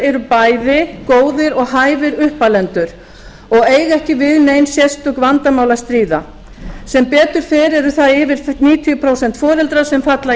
eru bæði góðir og hæfir uppalendur og eiga ekki við nein sérstök vandamál að stríða sem betur fer eru það yfir níutíu prósent foreldra sem falla